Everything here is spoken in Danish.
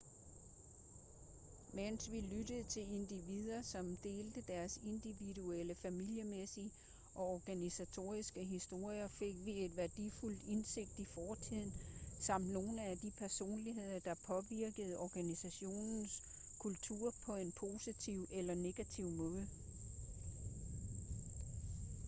mens vi lyttede til individer som delte deres individuelle familiemæssige og organisatoriske historier fik vi et værdifuldt indsigt i fortiden samt nogle af de personligheder der påvirkede organisationens kultur på en positiv eller negativ måde